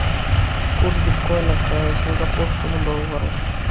курс биткоина к сингапурскому доллару